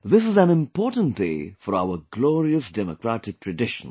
This is an important day for our glorious democratic traditions